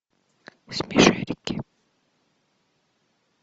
смешарики